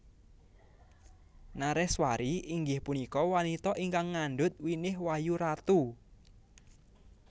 Nareswari inggih punika wanita ingkang ngandhut winih wayu ratu